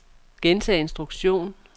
gentag instruktion